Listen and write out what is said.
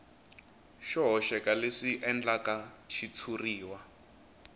xo hoxeka leswi endlaka xitshuriwa